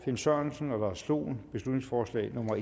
finn sørensen og lars dohn beslutningsforslag nummer